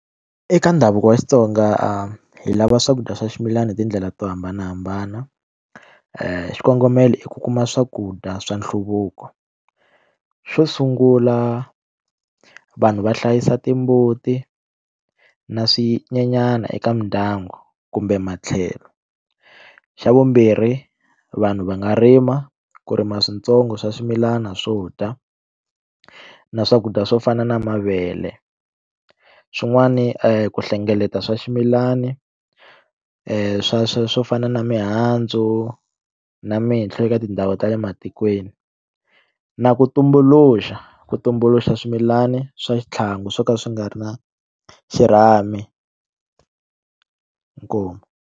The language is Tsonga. Eka ndhavuko wa Xitsonga hi lava swakudya swa ximilana hi tindlela to hambanahambana xikongomelo i ku kuma swakudya swa nhluvuko xo sungula vanhu va hlayisa timbuti na swinyenyana eka mindyangu kumbe matlhelo xa vumbirhi vanhu va nga rima ku rima switsongo swa swimilana swo dya na swakudya swo fana na mavele xin'wani ku hlengeleta swa swimilani swa swo fana na mihandzu na minhlo eka tindhawu ta le matikweni na ku tumbuluxa ku tumbuluxa swimilani swa xitlhangu swo ka swi nga ri na xirhami inkomu.